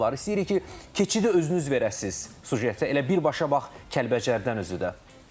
İstəyirik ki, keçidi özünüz verəsiniz süjetə, elə birbaşa bax Kəlbəcərdən özü də.